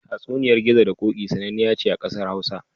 Tatsuniyar Gizo da Ƙoƙi sananniya ce ƙasar Hausa.